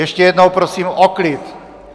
Ještě jednou prosím o klid!